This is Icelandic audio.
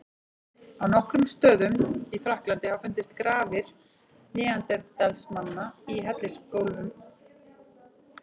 Á nokkrum stöðum í Frakklandi hafa fundist grafir neanderdalsmanna í hellisgólfum.